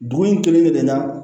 Dugu in kelen kelen na